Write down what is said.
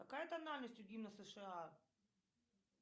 какая тональность у гимна сша